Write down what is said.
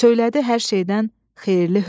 Söylədi: "Hər şeydən xeyirli hünər.